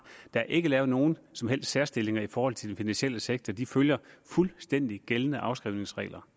der er ikke lavet nogen som helst særstilling i forhold til den finansielle sektor de følger fuldstændig gældende afskrivningsregler